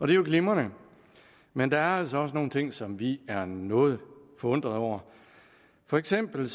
det er jo glimrende men der er altså også nogle ting som vi er noget forundrede over for eksempel